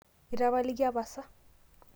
itapalikia pasa?